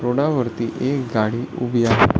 रोडा वरती एक गाडी उभी आहे.